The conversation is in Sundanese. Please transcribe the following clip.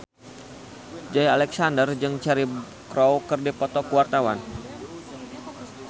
Joey Alexander jeung Cheryl Crow keur dipoto ku wartawan